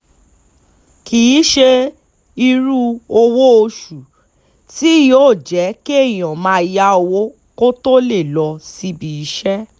kì í ṣe irú owó oṣù tí yóò jẹ́ kéèyàn máa yá owó kó tóo lè lọ síbi iṣẹ́